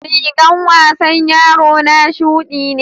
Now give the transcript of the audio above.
rigans wasan yaro na shuɗi ne.